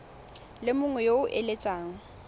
le mongwe yo o eletsang